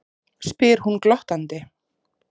spyr hún glottandi.